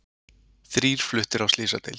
Þrír fluttir á slysadeild